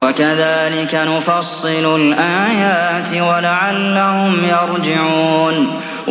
وَكَذَٰلِكَ نُفَصِّلُ الْآيَاتِ وَلَعَلَّهُمْ يَرْجِعُونَ